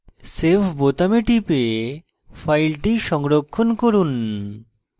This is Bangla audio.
save বোতামে টিপে file সংরক্ষণ করুন